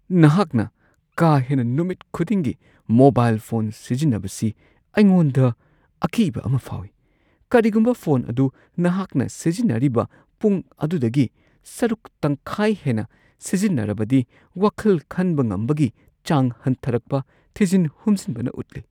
ꯅꯍꯥꯛꯅ ꯀꯥ ꯍꯦꯟꯅ ꯅꯨꯃꯤꯠ ꯈꯨꯗꯤꯡꯒꯤ ꯃꯣꯕꯥꯏꯜ ꯐꯣꯟ ꯁꯤꯖꯤꯟꯅꯕꯁꯤ ꯑꯩꯉꯣꯟꯗ ꯑꯀꯤꯕ ꯑꯃ ꯐꯥꯎꯋꯤ ꯫ ꯀꯔꯤꯒꯨꯝꯕ ꯐꯣꯟ ꯑꯗꯨ ꯅꯍꯥꯛꯅ ꯁꯤꯖꯤꯟꯅꯔꯤꯕ ꯄꯨꯡ ꯑꯗꯨꯗꯒꯤ ꯁꯔꯨꯛ ꯇꯪꯈꯥꯏ ꯍꯦꯟꯅ ꯁꯤꯖꯤꯟꯅꯔꯕꯗꯤ ꯋꯥꯈꯜ ꯈꯟꯕ ꯉꯝꯕꯒꯤ ꯆꯥꯡ ꯍꯟꯊꯔꯛꯄ ꯊꯤꯖꯤꯟ ꯍꯨꯝꯖꯤꯟꯕꯅ ꯎꯠꯂꯤ ꯫ (ꯃꯄꯥ)